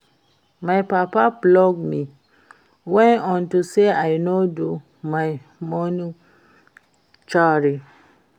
My papa flog me well unto say I no do my morning chore